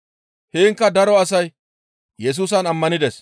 Heenkka daro asay Yesusan ammanides.